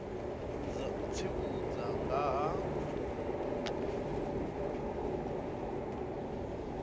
dza u tsivhudza nga ha